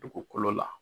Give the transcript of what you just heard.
Dugukolo la